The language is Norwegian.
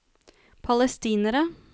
palestinere